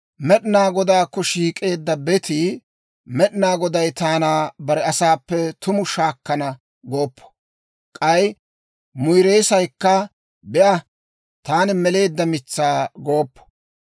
Med'inaa Godaakko shiik'eedda betii, «Med'inaa Goday taana bare asaappe tumu shaakkana» gooppo. K'ay muyreessaykka, «Be'a, taani meleedda mitsaa» gooppo.